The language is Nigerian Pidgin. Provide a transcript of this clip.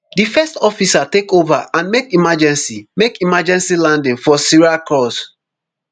di first officer take ova and make emergency make emergency landing for syracuse